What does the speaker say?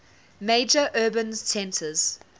major urban centres